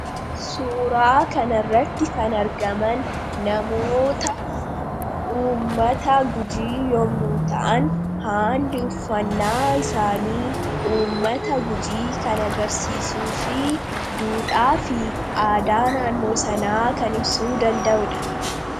suuraa kanarratti kan argaman namoota ummata gujii yommuu ta'an haalli uffannaa isaanii ummata gujii kan agarsiisuu fi duudhaa fi aadaa naannoo sanaa kan ibsuu danda'uudha.